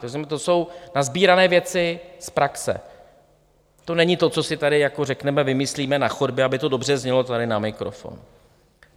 To jsou nasbírané věci z praxe, to není to, co si tady jako řekneme, vymyslíme na chodbě, aby to dobře znělo tady na mikrofon.